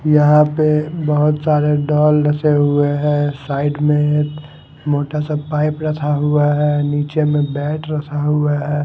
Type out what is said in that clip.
यहां पे बहोत सारे डॉल हुए हैं साइड में मोटा सा पाइप रखा हुआ है नीचे में बैट रखा हुआ है।